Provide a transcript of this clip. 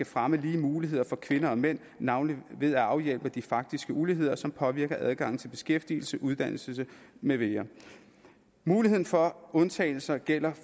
fremme lige muligheder for kvinder og mænd navnlig ved at afhjælpe de faktiske uligheder som påvirker adgangen til beskæftigelse uddannelse med videre muligheden for undtagelser gælder